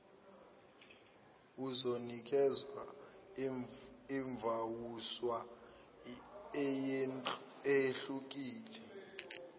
uzonikwezwa ivawusha eyehlukile